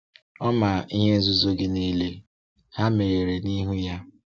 Ọ ma ihe nzuzo gị niile; ha meghere n’ihu ya.